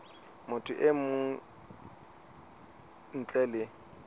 motho e mong ntle le